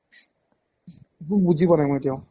একো বুজি পোৱা নাই এতিয়াও